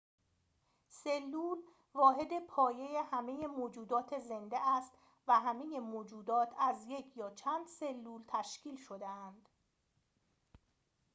سلول واحد پایه همه موجودات زنده است و همه موجودات از یک یا چند سلول تشکیل شده‌اند